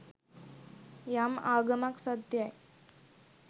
යම් ආගමක් සත්‍යයි